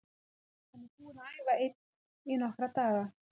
Hann er búinn að æfa einn í nokkra daga.